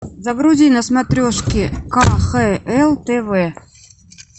загрузи на смотрешке кхл тв